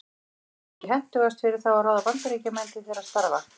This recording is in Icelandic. Væri þá ekki hentugast fyrir þá að ráða Bandaríkjamenn til þeirra starfa?